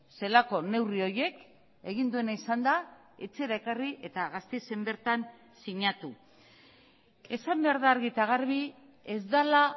zelako neurri horiek egin duena izan da etxera ekarri eta gasteizen bertan sinatu esan behar da argi eta garbi ez dela